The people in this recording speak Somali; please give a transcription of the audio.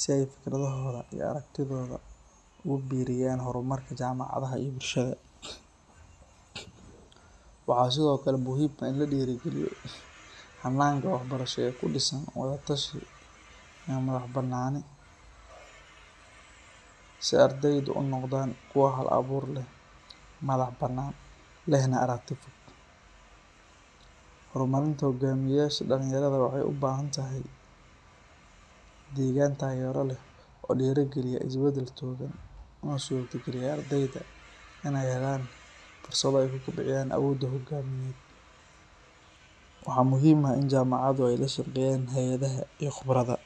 si ay fikradohooda iyo aragtidooda ugu biiriyaan horumarka jaamacadda iyo bulshada. Waxaa sidoo kale muhiim ah in la dhiirrigeliyo hannaanka waxbarasho ee ku dhisan wada-tashi iyo madax bannaani si ardaydu u noqdaan kuwo hal-abuur leh, madax bannaan, lehna aragti fog. Horumarinta hoggaamiyeyaasha dhalinyarada waxay u baahan tahay deegaan taageero leh oo dhiirrigeliya isbeddel togan, una suurtogeliya ardayda inay helaan fursado ay ku kobciyaan awooddooda hogaamineed. Waxaa muhiim ah in jaamacaduhu ay la shaqeeyaan hay’adaha iyo khubarada.